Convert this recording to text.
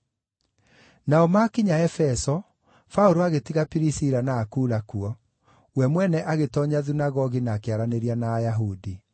Nao maakinya Efeso, Paũlũ agĩtiga Pirisila na Akula kuo. We mwene agĩtoonya thunagogi na akĩaranĩria na Ayahudi.